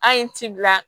An ye ci bila